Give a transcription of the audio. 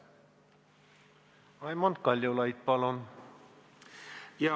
Raimond Kaljulaid, palun!